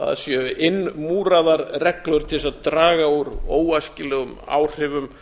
að séu innmúraðar reglur til þess að draga úr óæskilegum áhrifum